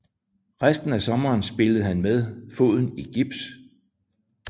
Resten af sommeren spillede han med foden i gips